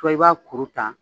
Dɔw b'a kuru ta